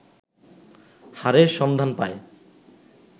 হাড়ের সন্ধান পায়